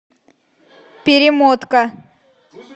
перемотка